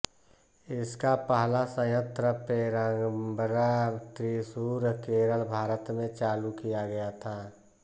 इसका पहला संयंत्र पेरम्बरा त्रिशूर केरल भारत में चालू किया गया था